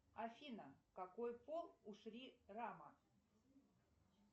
афина какой пол у шри рама